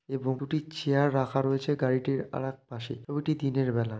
এবং দুটি চেয়ার রাখা রয়েছে গাড়িটির আরেক পাশে ছবিটি দিনের বেলা।